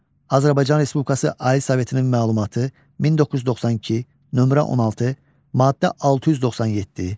Azərbaycan Respublikası Ali Sovetinin məlumatı, 1992, nömrə 16, maddə 697.